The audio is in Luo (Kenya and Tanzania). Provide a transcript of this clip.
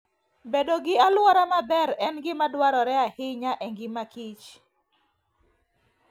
Bedo gi alwora maber en gima dwarore ahinya e ngima Kich.